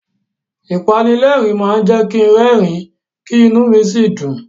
Ìpanilẹ́rìn-ín máa jẹ́ kin rẹ́rìn-ín, kí inú mi sì dùn.